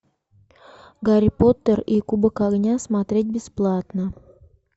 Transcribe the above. гарри поттер и кубок огня смотреть бесплатно